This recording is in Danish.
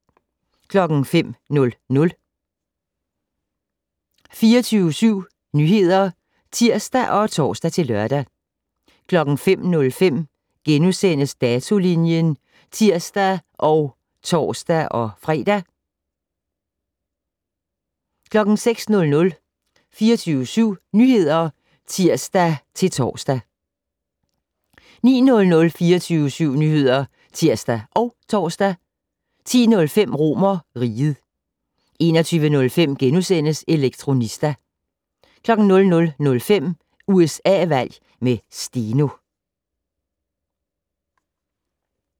05:00: 24syv Nyheder (tir og tor-lør) 05:05: Datolinjen *(tir og tor-fre) 06:00: 24syv Nyheder (tir-tor) 09:00: 24syv Nyheder (tir og tor) 10:05: RomerRiget 21:05: Elektronista * 00:05: USA-valg med Steno